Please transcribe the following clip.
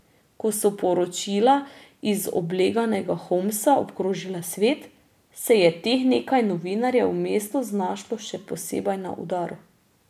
Ko so poročila iz obleganega Homsa obkrožila svet, se je teh nekaj novinarjev v mestu znašlo še posebej na udaru.